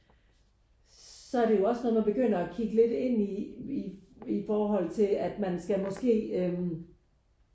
Så er det jo også når man begynder at kigge lidt ind i i forhold til at man skal måske